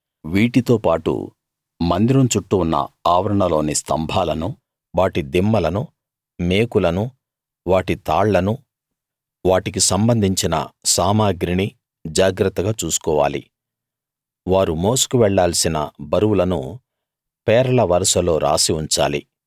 వీటితో పాటు మందిరం చుట్టూ ఉన్న ఆవరణలోని స్తంభాలను వాటి దిమ్మలను మేకులను వాటి తాళ్లనూ వాటికి సంబంధించిన సామగ్రినీ జాగ్రత్తగా చూసుకోవాలి వారు మోసుకు వెళ్ళాల్సిన బరువులను పేర్ల వరుసలో రాసి ఉంచాలి